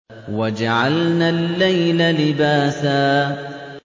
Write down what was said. وَجَعَلْنَا اللَّيْلَ لِبَاسًا